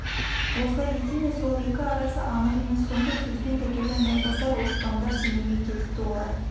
осылай ете ме сол екі арасы анық емес сондай сөзбен тәкежан майбасар оспандар семейге кетіпті олар